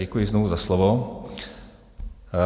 Děkuji znovu za slovo.